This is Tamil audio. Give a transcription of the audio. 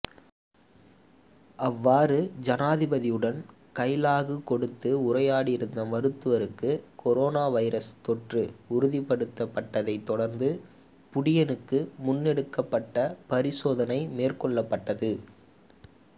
அவ்வாறு ஜனாதிபதியுடன் கைலாகு கொடுத்து உரையாடியிருந்த மருத்துவருக்கு கொரோனா வைரஸ் தொற்று உறுதிப்படுத்தப்பட்டதைத் தொடர்ந்து புடின்னுக்கும் முன்னெடுக்கப்பட்ட பரிசோதனை மேற்கொள்ளப்பட்டது